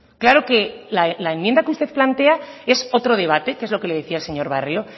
claro que la enmienda que usted plantea es otro debate que es lo que le decía el señor barrio